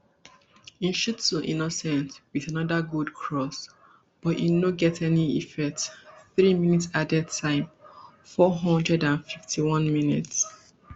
nshuti innocent wit anoda good cross but no e no get any effect three mins added time four hundred and fifty-onemins